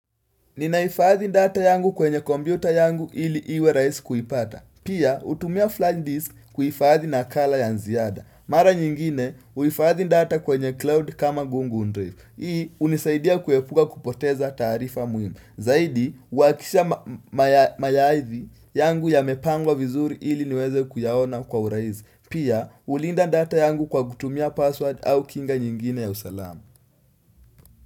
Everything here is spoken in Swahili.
Ninahifadhi data yangu kwenye kompyuta yangu ili iwe rahisi kuipata. Pia hutumia flash disk kuhifadhi nakala ya ziada. Mara nyingine huifadhi data kwenye cloud kama google drive. Hii hunisaidia kuepuka kupoteza taarifa muhimu. Zaidi uhakisha mayaidhi yangu yamepangwa vizuri ili niweze kuyaona kwa urahisi. Pia hulinda data yangu kwa kutumia password au kinga nyingine ya usalama.